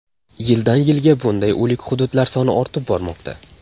Yildan yilga bunday o‘lik hududlar soni ortib bormoqda.